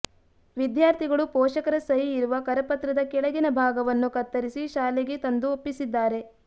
ವಿದ್ಯಾರ್ಥಿಗಳು ಪೋಷಕರ ಸಹಿ ಇರುವ ಕರಪತ್ರದ ಕೆಳಗಿನ ಭಾಗವನ್ನು ಕತ್ತರಿಸಿ ಶಾಲೆಗೆ ತಂದು ಒಪ್ಪಿಸಿದ್ದಾರೆ